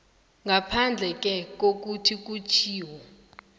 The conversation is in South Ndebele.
ngaphandleke kokuthi kutjhiwo